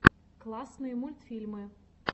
классные мультфильмы